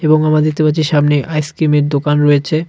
এবং আমরা দেখতে পাচ্ছি সামনে আইসক্রিমের দোকান রয়েছে.